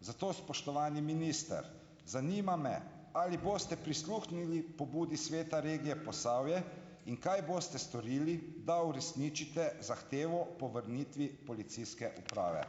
Zato, spoštovani minister, zanima me, ali boste prisluhnili pobudi sveta regije Posavje. In kaj boste storili, da uresničite zahtevo po vrnitvi policijske uprave.